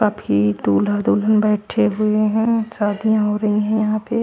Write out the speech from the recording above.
अभी दूल्हा दुल्हन बेठे हुए है शादिया हो रही है यहा पे।